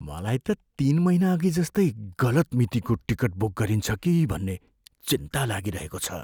मलाई त तिन महिनाअघि जस्तै गलत मितिको टिकट बुक गरिन्छ कि भन्ने चिन्ता लागिरहेको छ।